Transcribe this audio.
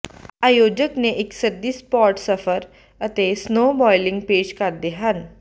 ਆਯੋਜਕ ਨੇ ਇੱਕ ਸਰਦੀ ਸਪਾਟੇ ਸਫਰ ਅਤੇ ਸਨੋਮੋਬਾਈਲਿੰਗ ਪੇਸ਼ ਕਰਦੇ ਹਨ